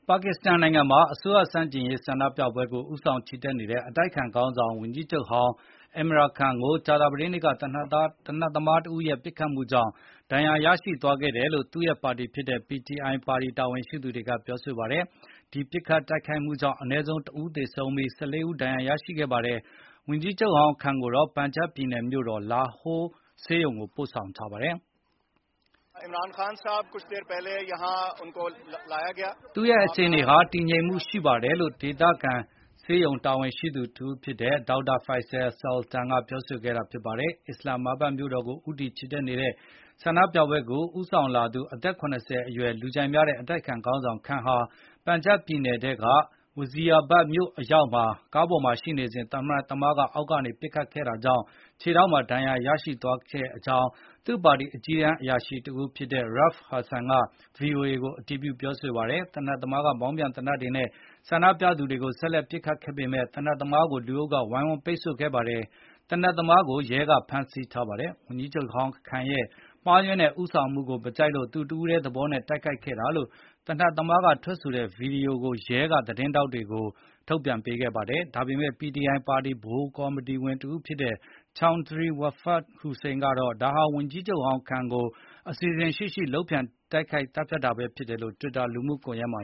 ပါကစ္စတန်နိုင်ငံမှာ အစိုးရဆန့်ကျင်ရေး ဆန္ဒပြပွဲကို ဦးဆောင်ချီတက်နေတဲ့ အတိုက်အခံခေါင်းဆောင် ဝန်ကြီးချုပ်ဟောင်း Imran Khan အင်မရမ်-ခန်း ကို ကြာသပတေးနေ့က သေနတ်သမားတဦးရဲ့ ပစ်ခတ်မှုကြောင့် ဒဏ်ရာ ရရှိသွားတယ်လို့ သူ့ရဲ့ ပါတီဖြစ်တဲ့ PTI ပါတီ တာဝန်ရှိသူတွေကပြောပါတယ်။ ဒီ ပစ်ခတ်တိုက်ခိုက်မှုကြောင့် အနည်းဆုံး ၁ ဦးသေဆုံးပြီး၊ ၁၄ ဦး ဒဏ်ရာရရှိခဲ့ပါတယ်။ ဝန်ကြီးချုပ်ဟောင်း Khan ကိုတော့ ပန်ဂျပ်ပြည်နယ်မြို့တော် လာဟိုးက ဆေးရုံကို ပို့ဆောင်ခဲ့ပါတယ်။ သူ့ရဲ့အခြေအနေဟာ တည်ငြိမ်မှု ရှိပါတယ်လို့ ဒေသဆေးရုံ တာဝန်ရှိသူတဦးဖြစ်တဲ့ Dr. Faisal Sultan က ပြောဆိုခဲ့တာ ဖြစ်ပါတယ်။ အစ္စလမ်မာဘတ်မြို့တော်ကို ဦးတည် ချီတက်လာတဲ့ ဆန္ဒပြပွဲကို ဦးဆောင်လာသူ အသက် ၇၀ အရွယ် လူကြိုက်များတဲ့ အတိုက်အခံခေါင်းဆောင် Khan ဟာ ပန်ဂျပ်ပြည်နယ်ထဲက Wazirabad မြို့အရောက် ကားပေါ်မှာ ရှိနေစဉ် သေနတ်သမားက အောက်ကနေ ပစ်ခတ်ခဲ့တာကြောင့် ခြေထောက်မှာ ဒဏ်ရာ ရသွားခဲ့ကြောင်း သူ့ပါတီရဲ့ အကြီးတန်းအရာရှိတဦးဖြစ်တဲ့ Rauf Hassan က VOA ကို အတည်ပြု ပြောဆိုပါတယ်။ သေနတ်သမားက မောင်းပြန် သေနတ်နဲ့ ဆန္ဒပြသူတွေကို ဆက်လက် ပစ်ခတ်ခဲ့ပေမယ့် သေနတ်သမားကို လူအုပ်က ဝိုင်းဝန်းပိတ်ဆို့ထားပြီး ရဲက ဖမ်းဆီးနိုင်ခဲ့ပါတယ်။ ဝန်ကြီးချုပ်ဟောင်း Khan ရဲ့ မှားယွင်းတဲ့ ဦးဆောင်မှုကို မကြိုက်လို့ သူတဦးထဲသဘောနဲ့တိုက်ခိုက်ခဲ့တာလို့ သေနတ်သမားက ထွက်ဆိုထားတဲ့ ဗွီဒီယိုဖိုင်ကို ရဲက သတင်းထောက်တွေကို ထုတ်ပြန်ခဲ့ပါတယ်။ ဒါပေမယ့် PTI ပါတီ ဗဟိုကော်မတီဝင် တဦးဖြစ်တဲ့ Chaudhry Fawad Hussain ကတော့ ဒါဟာ ဝန်ကြီးချုပ်ဟောင်း Khan ကို အစီအစဉ်ရှိရှိ လုပ်ကြံသတ်ဖြတ်တာပဲ ဖြစ်တယ်လို့ တွစ်တာ လူမှုကွန်ယက်မှာ